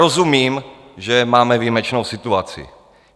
Rozumím, že máme výjimečnou situaci.